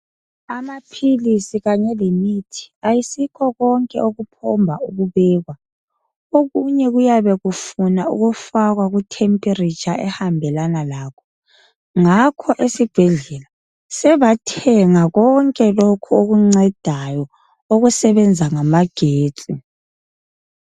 Amaphilisi kanye lemithi ayisikho konke okuphomba ukubekwa. Okunye kuyabe kufuna ukufakwa ku temperature ehambelana lakho. Ngakho esibhedlela sebathenga konke lokho okuncedayo okusebenza ngama getsi.